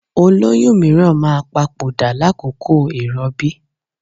Olóyún mìíràn máa papòdà lákòókò ìrọbí.